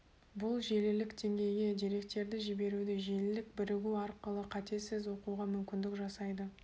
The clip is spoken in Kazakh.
бұл желілік деңгейге деректерді жіберуді желілік бірігу арқылы қатесіз оқуға мүмкүндік жасайды